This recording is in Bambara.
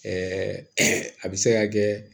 a bɛ se ka kɛ